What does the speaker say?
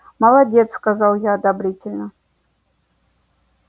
молодец сказал я одобрительно